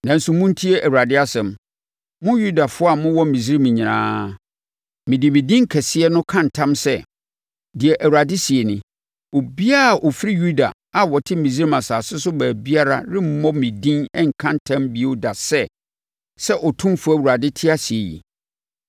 Nanso, montie Awurade asɛm, mo Yudafoɔ a mowɔ Misraim nyinaa. ‘Mede me din kɛseɛ no ka ntam sɛ,’ deɛ Awurade seɛ nie, ‘obiara a ɔfiri Yuda a ɔte Misraim asase so baabiara remmɔ me din nka ntam bio da sɛ, “Sɛ Otumfoɔ Awurade te ase yi.”